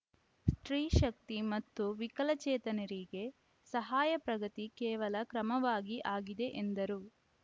ಸ್ಟ್ರೀ ಶಕ್ತಿ ಮತ್ತು ವಿಕಲಚೇತನರಿಗೆ ಸಹಾಯ ಪ್ರಗತಿ ಕೇವಲ ಕ್ರಮವಾಗಿ ಆಗಿದೆ ಎಂದರು